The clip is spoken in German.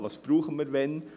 Was brauchen wir wann?